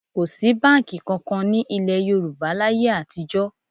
Kò sí báǹkì kankan ní ilẹ̀ Yorùbá láyé àtijọ́